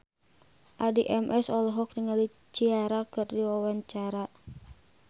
Addie MS olohok ningali Ciara keur diwawancara